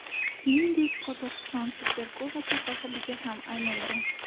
Shuningdek, Qozog‘iston Superkubogi sohibiga ham aylangan.